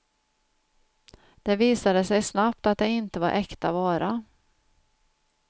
Det visade sig snabbt att det inte var äkta vara.